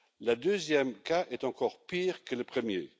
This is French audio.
Le deuxième cas est encore pire que le premier.